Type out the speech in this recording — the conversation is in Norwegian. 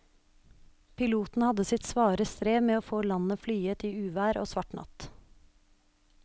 Piloten hadde sitt svare strev med å få landet flyet i uvær og svart natt.